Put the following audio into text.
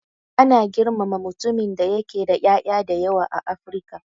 Ana girmama mutumin da yake da ƴaƴa da yawa a Afrika.